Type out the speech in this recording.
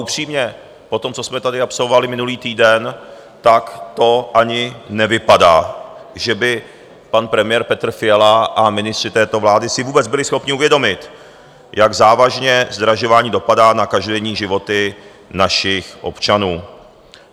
Upřímně, po tom, co jsme tady absolvovali minulý týden, tak to ani nevypadá, že by pan premiér Petr Fiala a ministři této vlády si vůbec byli schopni uvědomit, jak závažně zdražování dopadá na každodenní životy našich občanů.